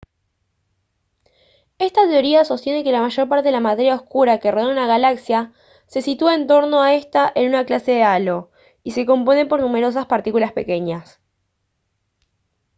esta teoría sostiene que la mayor parte de la materia oscura que rodea a una galaxia se sitúa en torno a esta en una clase de halo y se compone por numerosas partículas pequeñas